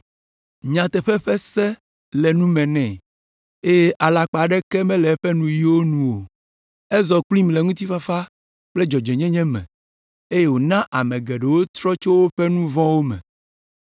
Nyateƒe ƒe se le nu me nɛ, eye alakpa aɖeke mele eƒe nuyiwo nu o. Ezɔ kplim le ŋutifafa kple dzɔdzɔenyenye me, eye wòna ame geɖewo trɔ tso woƒe nu vɔ̃wo me.